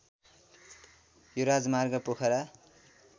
यो राजमार्ग पोखरा